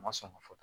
A ma sɔn ka fɔ